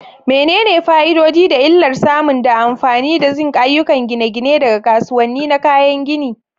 Menene fa'idodi da illar samun da amfani da zinc a ayyukan gine-gine daga kasuwanni na kayan gini?